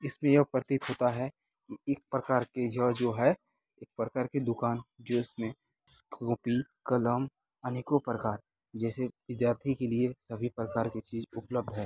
इसमें ये है प्रतीत होता है इस प्रकार का जड़ जो है एक प्रकार की दुकान जो जिसमें कॉपी कलम अनेको प्रकार जैसे विद्यार्थी के लिए सभी प्रकार के चीज उपल्ध है।